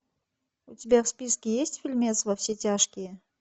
у тебя в списке есть фильмец во все тяжкие